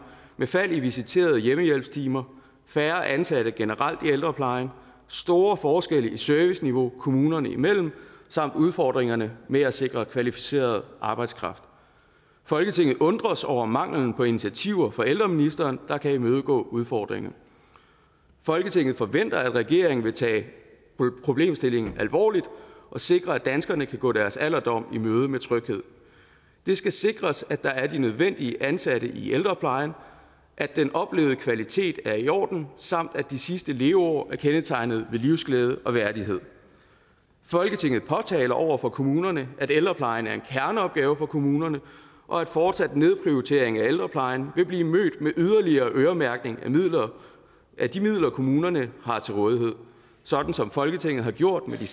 med fald i visiterede hjemmehjælpstimer færre ansatte generelt i ældreplejen store forskelle i serviceniveau kommunerne imellem samt udfordringerne med at sikre kvalificeret arbejdskraft folketinget undres over manglen på initiativer fra ældreministeren der kan imødegå udfordringerne folketinget forventer at regeringen vil tage problemstillingen alvorligt og sikre at danskerne kan gå deres alderdom i møde med tryghed det skal sikres at der er de nødvendige ansatte i ældreplejen at den oplevede kvalitet er i orden samt at de sidste leveår er kendetegnet ved livsglæde og værdighed folketinget påtaler over for kommunerne at ældreplejen er en kerneopgave for kommunerne og at fortsat nedprioritering af ældreplejen vil blive mødt med yderligere øremærkning af de midler kommunerne har til rådighed sådan som folketinget har gjort med